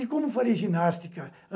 E como farei ginástica?